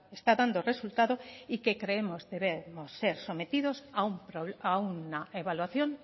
está dando resultado y que creemos debemos ser sometidos a una evaluación